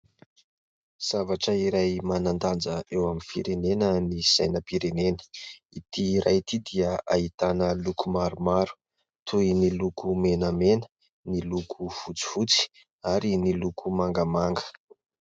Zavatra iray manan-danja eo amin'ny firenena ny sainam-pirenena. Ity iray ity dia ahitana loko maromaro toy ny loko menamena, ny loko fotsifotsy ary ny loko mangamanga.